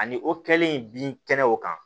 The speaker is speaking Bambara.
Ani o kɛli in bin kɛnɛ o kan